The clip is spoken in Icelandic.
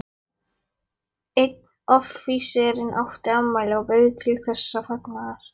Einn offíserinn átti afmæli og bauð til þessa fagnaðar.